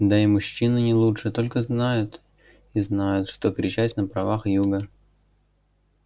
да и мужчины не лучше тоже только и знают что кричать о правах юга и главных задачах